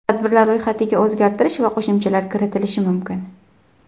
Tadbirlar ro‘yxatiga o‘zgartirish va qo‘shimchalar kiritilishi mumkin.